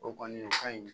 O kɔni o kaɲi